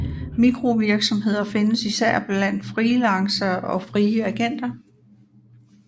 Mikrovirksomheder findes især blandt freelancere og frie agenter